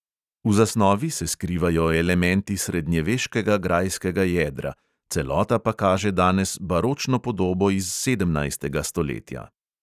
V zasnovi se skrivajo elementi srednjeveškega grajskega jedra, celota pa kaže danes baročno podobo iz sedemnajstega stoletja.